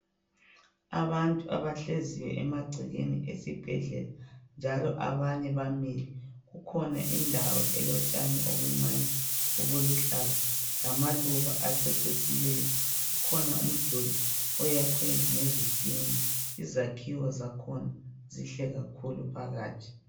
Abantu abahleziyo emagcekeni esibhedlela njalo abanye bamile. Kukhona indawo elotshani obuncane, obuluhlaza lamaluba acecisileyo. Kukhona umduli oyakhwe ngezitina. Izakhiwo zakhona zinhle kakhulu phakathi.